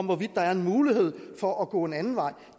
hvorvidt der er en mulighed for at gå en anden vej